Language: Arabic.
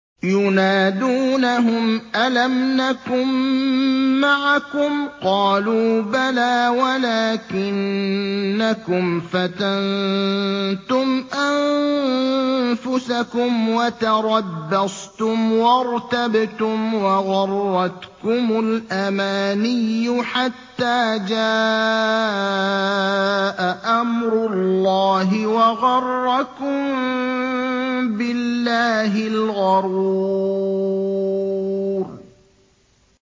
يُنَادُونَهُمْ أَلَمْ نَكُن مَّعَكُمْ ۖ قَالُوا بَلَىٰ وَلَٰكِنَّكُمْ فَتَنتُمْ أَنفُسَكُمْ وَتَرَبَّصْتُمْ وَارْتَبْتُمْ وَغَرَّتْكُمُ الْأَمَانِيُّ حَتَّىٰ جَاءَ أَمْرُ اللَّهِ وَغَرَّكُم بِاللَّهِ الْغَرُورُ